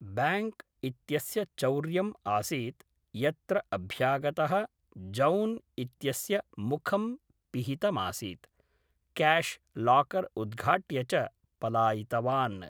Bank इत्यस्य चौर्यम् आसीत् यत्र अभ्यागतः जौन् इत्यस्य मुखं पिहितमासीत्, क्याश् लाकर् उद्घाट्य च पलायितवान्।